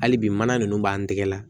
Hali bi mana nunnu b'an tɛgɛ la